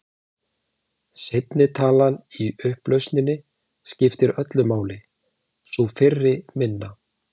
Seinni talan í upplausninni skiptir öllu máli, sú fyrri minna.